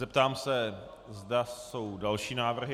Zeptám se, zda jsou další návrhy.